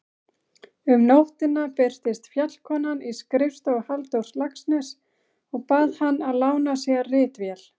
Um nóttina birtist Fjallkonan í skrifstofu Halldórs Laxness og bað hann að lána sér ritvél.